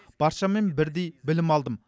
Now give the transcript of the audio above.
баршамен бірдей білім алдым